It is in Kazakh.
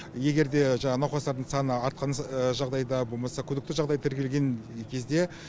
егер де жаңағы науқастардың саны артқан жағдайда болмаса күдікті жағдай тіркелген кезде